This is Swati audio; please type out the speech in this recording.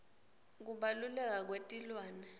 kubaluleka kwetilwane